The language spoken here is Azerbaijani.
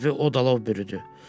Hər tərəfi o da lov bürüdü.